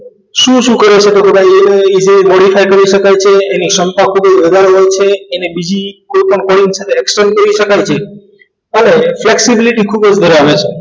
શું શું કરો છો body cycle હોઈ શકાય છે એની હોય છે એને બીજી કોઈપણ coincidence action કરી શકાય છે અને flexibility ખૂબ જ ધરાવે છે